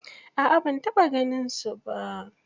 A'a ban taɓa ganinsu ba.